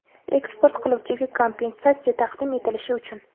eksport qiluvchiga kompensatsiya taqdim etilishi uchun:.